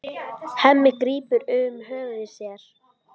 Hemmi grípur um höfuð sér.